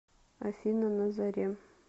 афина на заре